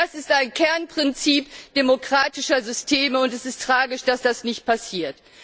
Das ist ein Kernprinzip demokratischer Systeme, und es ist tragisch, dass das nicht passiert.